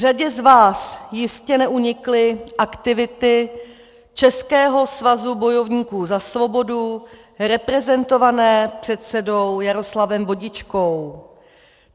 Řadě z vás jistě neunikly aktivity Českého svazu bojovníků za svobodu reprezentovaného předsedou Jaroslavem Vodičkou.